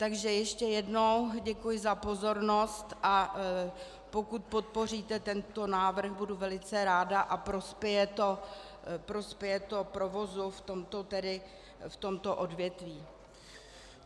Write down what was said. Takže ještě jednou děkuji za pozornost, a pokud podpoříte tento návrh, budu velice ráda a prospěje to provozu v tomto odvětví.